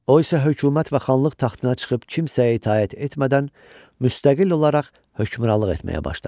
O isə hökumət və xanlıq taxtına çıxıb kimsəyə itaət etmədən müstəqil olaraq hökmranlıq etməyə başladı.